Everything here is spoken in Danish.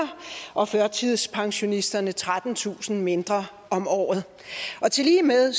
og førtidspensionisterne trettentusind kroner mindre om året tillige med